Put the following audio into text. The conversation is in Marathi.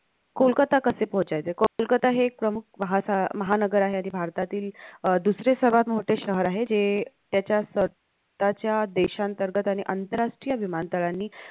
कोलकत्ता कशे पोहचायचे. कोलकत्ता हे एक प्रमुख वाहसा महानगर आहे. आणि भारतातील अह दुसरे सर्वात मोठे शहर आहे जे त्याच्या स्वतःच्या देशान्तर्गत आणि आंतरराष्ट्रीय विमानतळांनी